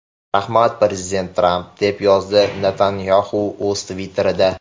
Rahmat, prezident Tramp”, deb yozdi Netanyaxu o‘z Twitter’ida.